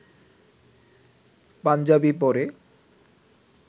পাঞ্জাবি পরে